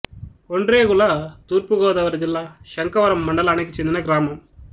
ఒండ్రేగుల తూర్పు గోదావరి జిల్లా శంఖవరం మండలానికి చెందిన గ్రామం